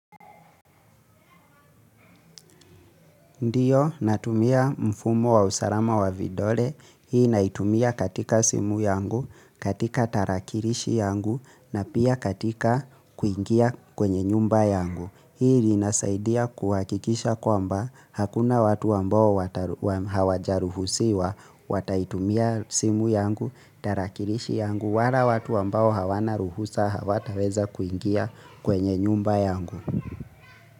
Ndiyo, natumia mfumo wa usalama wa vidole, hii naitumia katika simu yangu, katika tarakilishi yangu, na pia katika kuingia kwenye nyumba yangu. Hii inasaidia kuhakikisha kwamba hakuna watu ambao hawajaruhusiwa, wataitumia simu yangu, tarakilishi yangu, wala watu ambao hawana ruhusa hawataweza kuingia kwenye nyumba yangu.